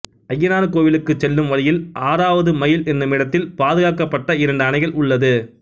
அய்யனார் கோவிலுக்கு செல்லும் வழியில் ஆறாவதுமயில் என்னும் இடத்தில் பாதுகாக்கப்பட்ட இரண்டு அணைகள் உள்ளது